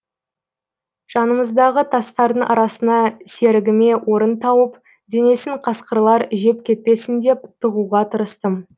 жанымыздағы тастардың арасына серігіме орын тауып денесін қасқырлар жеп кетпесін деп тығуға тырыстым